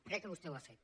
crec que vostè ho ha fet